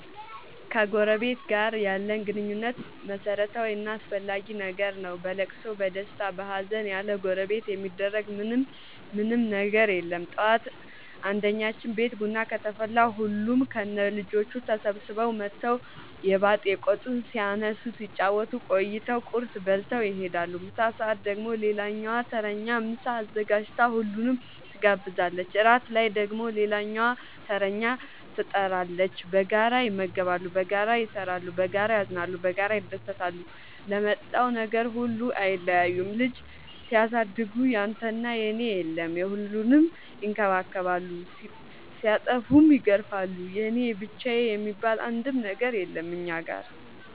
ከጎረበት ጋር ያለን ግንኙነት መረታዊ እና አስፈላጊ ነገር ነው። በለቅሶ በደስታ በሀዘን ያለጎረቤት የሚደረግ ምን ምንም ነገር የለም ጠዋት አንድኛችን ቤት ቡና ከተፈላ ሁሉም ከነ ልጆቹ ተሰብስበው መተው የባጥ የቆጡን ሲያነሱ ሲጫወቱ ቆይተው ቁርስ በልተው ይሄዳሉ። ምሳ ሰአት ደግሞ ሌላኛዋ ተረኛ ምሳ አዘጋጅታ ሁሉንም ትጋብዛለች። እራት ላይ ደግሞ ሌላኛዋተረኛ ትጣራለች። በጋራ ይመገባሉ በጋራ ይሰራሉ። በጋራ ያዝናሉ በጋራ ይደሰታሉ ለመጣው ነገር ሁሉ አይለያዩም ልጅ ሲያሳድጉ ያንተና የኔ የለም የሁሉንም ይከባከባሉ ሲጠፉም ይገርፋሉ የኔ የብቻዬ የሚባል አንድም ነገር የለም እኛ ጋር።